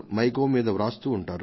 in మీద రాస్తూ ఉంటారు